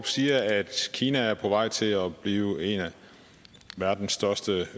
siger at kina er på vej til at blive en af verdens største